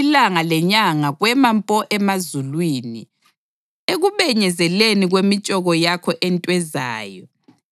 Ilanga lenyanga kwema mpo emazulwini ekubenyezeleni kwemitshoko yakho entwezayo,